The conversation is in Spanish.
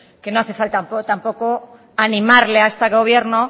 que no hace falta tampoco animarle a este gobierno